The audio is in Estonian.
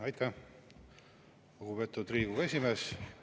Aitäh, lugupeetud Riigikogu esimees!